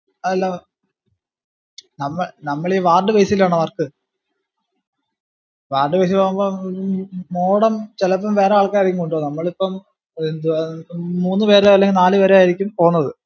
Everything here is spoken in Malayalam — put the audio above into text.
അല്ല നമ്മ നമ്മള് ഈ ward base ലാണ് work ward base ഇൽ ആകുമ്പോ ഏർ modem ചെലപ്പം വേറെ ആൾക്കാറായിരിക്കും കൊണ്ടോന്നത് നമ്മള് ഇപ്പം എന്തു ഏർ മൂന്ന് പേരോ അല്ലെ നാല് പേരോ ആയിരിക്കും പോന്നത്